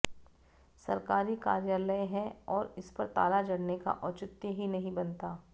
सरकारी कार्यालय है और इस पर ताला जड़ने का औचित्य ही नहीं बनता